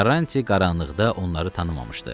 Karranti qaranlıqda onları tanımamışdı.